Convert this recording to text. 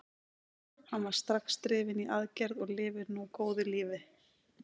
Hann var strax drifinn í aðgerð og lifir nú góðu lífi.